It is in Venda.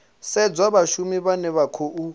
sedzwa vhashumi vhane vha khou